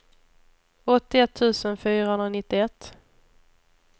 åttioett tusen fyrahundranittioett